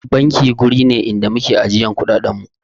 Banki wuri ne inda muke ajiyan kuɗaɗen mu